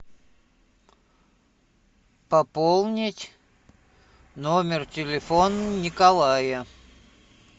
пополнить номер телефона николая